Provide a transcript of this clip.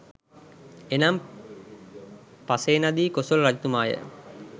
එනම් පසේනදී කොසොල් රජතුමාය,